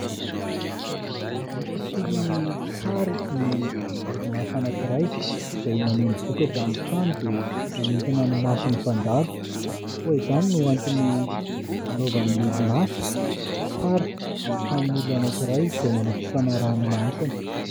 Ny fisian'ny sarin'ny orinasa anankiray izay maneho ny vokatra amin'ny trano dia manintona ny mason'ny mpandalo. Koa izany no antony anaovan'ny orinasa sary amin'ny tranon'olona anankiray izay manao fifanarahana manokana.